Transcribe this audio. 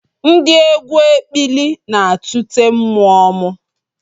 Ndị egwu ekpili na-atụte mmụọ m